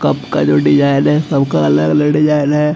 Cup का जो design है सब का अलग-अलग डिज़ाइन है।